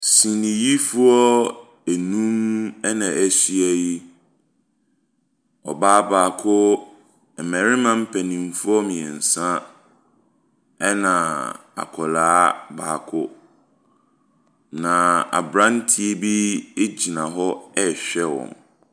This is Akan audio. Seniyifoɔ anum ana ahyia yi. Ɔbaa baako, mmarima mpanimfoɔ mmiɛnsa, ɛna akwaraa baako. Na abranteɛ bi gyina hɔ rehwɛ wɔn.